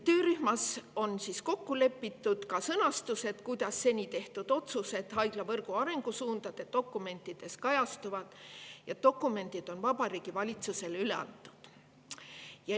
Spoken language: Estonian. Töörühmas on kokku lepitud ka sõnastus, kuidas seni tehtud otsuseid haiglavõrgu arengusuundade dokumentides kajastatakse, ja dokumendid on Vabariigi Valitsusele üle antud.